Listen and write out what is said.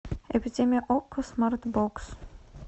эпидемия окко смарт бокс